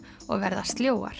og verða